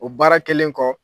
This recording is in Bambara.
O baara kelen kɔ